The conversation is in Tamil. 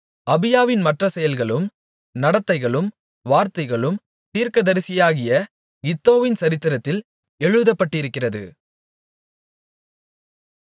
அபியாவின் மற்ற செயல்களும் நடத்தைகளும் வார்த்தைகளும் தீர்க்கதரிசியாகிய இத்தோவின் சரித்திரத்தில் எழுதப்பட்டிருக்கிறது